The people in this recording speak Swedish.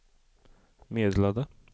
meddelade